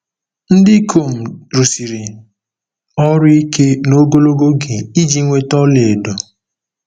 Ndị ikom rụsiri ọrụ ike na ogologo oge iji nweta ọlaedo.